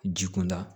Ji kunda